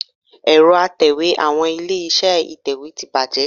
Ẹ̀rọ Atẹ̀wé àwọn ilé-iṣẹ́ ìtẹ̀wé ti bàjẹ́